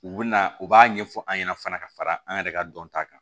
U bɛ na u b'a ɲɛfɔ an ɲɛna fana ka fara an yɛrɛ ka dɔnta kan